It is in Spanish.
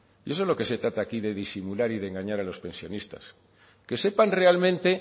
y eso es lo que se trata aquí de disimular y de engañar a los pensionistas que sepan realmente